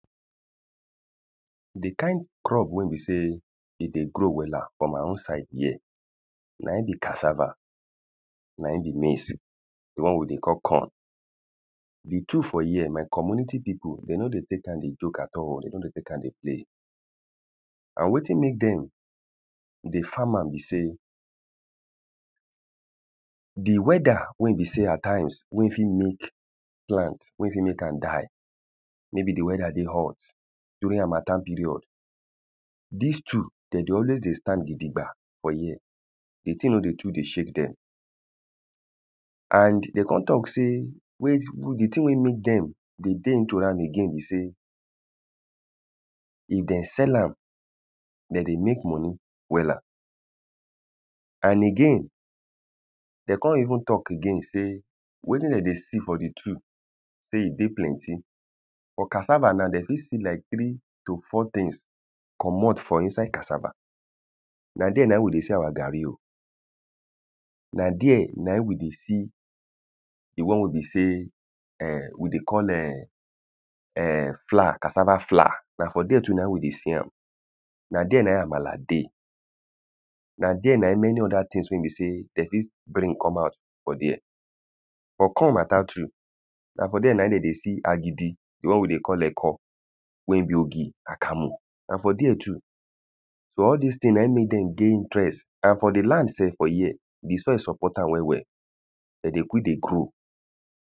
The kind crop wey be sey e dey grow wella for my own side here na im be cassava. Na im be maize. the one Wey we dey call corn. The two for here, my community people de no dey take am dey joke at all. De no dey take am dey play. And wetin make dem dey farm am be sey The weather wey e be sey at times, wey e fit make plant, wey e fit make am die maybe the weather dey hot. During hamattan period Dis two, de dey always dey stand gidigba for here. The thing no dey too dey shake dem. And de con talk sey the thing wey make dem dey dey into am again be sey, if de sell am de dey make money wella. And again de con even talk again sey wetin de dey see for the two sey e dey plenty. For cassava now, dey fit see like three to four things comot for inside cassava. Na dere na im we dey see our gari o. Na dere na im we dey the one wey be sey erm we dey call ern erm flour, cassava flour. Na for dere too na im we dey see am. Na dere na im amala dey. Na dere na im many other things wey be sey de fit bring come out for dere. For corn matter too na for dere na im de dey see agidi. The one wey dey call eko. Wey be oki, akamu na for dere too. So all dis thing na im make dem dey interest and for the land self for here, the soil support am well well. Dem dey quick dey grow.